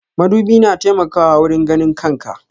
Madubi na taimakawa wurin ganin kan ka.